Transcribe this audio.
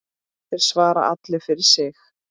Þeir svara allir fyrir sig.